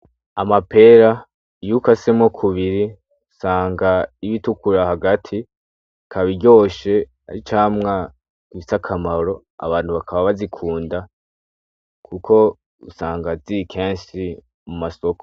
Amapera iyo ukasemwo kubiri usanga ritukura hagati ikaba iryoshe ari icamwa gifise akamaro abantu bakaba bazikunda kuko usanga ziri kenshi mumasoko